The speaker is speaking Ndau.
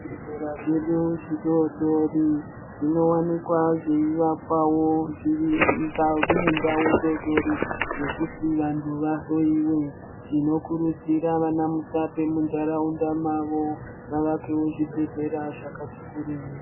Zvibhehlera zvedu zvidoodori zvinovanikwa zveivakwavo zviine ndau doodori yekuti vantu vahloive. Tinokurudzira vana mutape mundau mwavo vavakevo zvibhehlera zvakati kuti.